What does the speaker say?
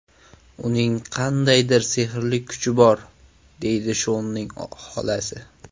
Uning qandaydir sehrli kuchi bor”, deydi Shonning xolasi.